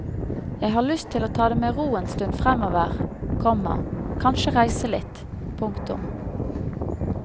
Jeg har lyst til å ta det med ro en stund fremover, komma kanskje reise litt. punktum